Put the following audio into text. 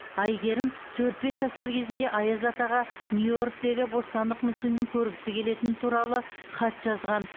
әйгерім төрт бес жасар кезінде аяз атаға нью йорктегі бостандық мүсінін көргісі келетіні туралы хат жазған